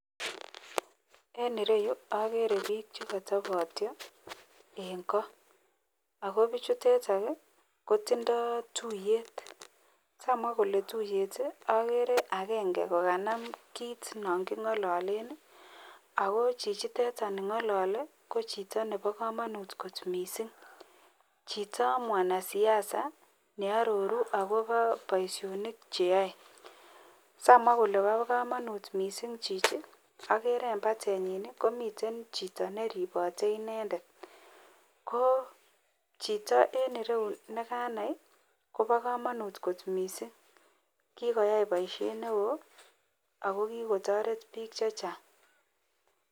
En ireyu agere bik chekatabto en koakobichuteton kutindo tuiyet samwa Kole tiuyet agere agenge kokaname kit nangingalalenb akochichiteton nengalale ko Chito Nebo kamanut kot mising Chito mwanasiasa nearoru akobo Baishonik cheyoe samwa Kole ba kamanut mising Chichi ko agere embatenyin agere komiten Chito neribote bik AK inendet ko Chito en rou nekanai Koba kamanut kot mising akokikoyai baishet neon akotaret bik chechang